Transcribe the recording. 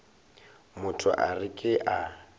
motho a re ke a